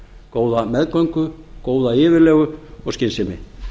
góða meðgöngu góða yfirlegu og skynsemi